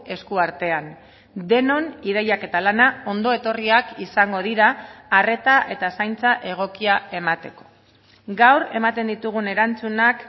eskuartean denon ideiak eta lana ondo etorriak izango dira arreta eta zaintza egokia emateko gaur ematen ditugun erantzunak